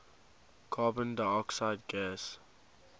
carbon dioxide gas